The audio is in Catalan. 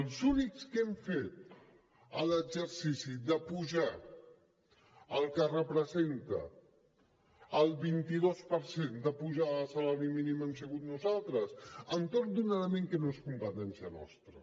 els únics que hem fet l’exercici d’apujar el que representa el vint dos per cent de pujada del salari mínim hem sigut nosaltres entorn d’un element que no és competència nostra